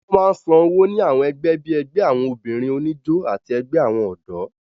Wọ́n máa ń san owó ní àwọn ẹgbẹ́ bíi ẹgbẹ́ àwọn obìnrin oníjó àti ẹgbẹ́ àwọn ọ̀dọ́